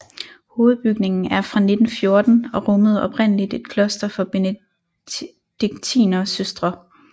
Hovedbygningen er fra 1914 og rummede oprindeligt et kloster for benediktinersøstre